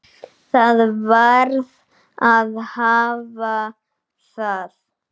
Það varð að hafa það.